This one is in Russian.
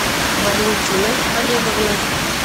валентиной олеговной